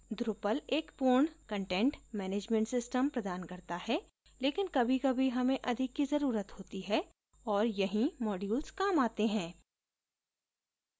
drupal एक पूर्ण content management system प्रदान करता है लेकिन कभी कभी हमें अधिक की जरूरत होती है और यहीं modules काम आते हैं